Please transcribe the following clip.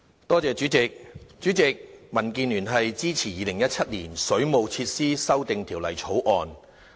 代理主席，民建聯支持《2017年水務設施條例草案》。